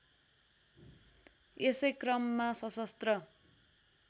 यसै क्रममा सशस्त्र